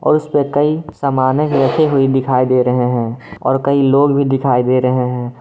और उस पे कई सामानें भी रखी हुई दिखाई दे रहे हैं और कई लोग भी दिखाई दे रहे हैं।